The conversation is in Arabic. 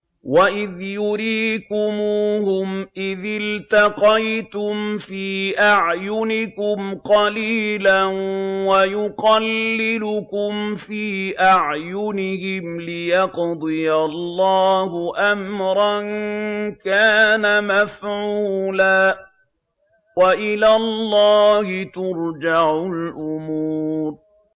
وَإِذْ يُرِيكُمُوهُمْ إِذِ الْتَقَيْتُمْ فِي أَعْيُنِكُمْ قَلِيلًا وَيُقَلِّلُكُمْ فِي أَعْيُنِهِمْ لِيَقْضِيَ اللَّهُ أَمْرًا كَانَ مَفْعُولًا ۗ وَإِلَى اللَّهِ تُرْجَعُ الْأُمُورُ